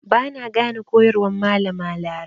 Ba na gane koyarwar Malama Larai.